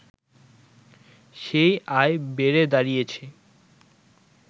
সেই আয় বেড়ে দাঁড়িয়েছে